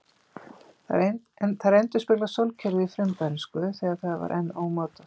Þær endurspegla sólkerfið í frumbernsku, þegar það var enn ómótað.